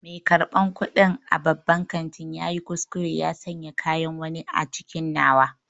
Mai karɓan kuɗi a babban kantin ya yi kuskure ya sanya kayan wani a cikin nawa.